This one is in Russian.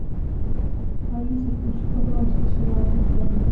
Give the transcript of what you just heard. алиса включи пожалуйста сериал интерны